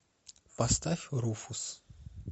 поставь руфус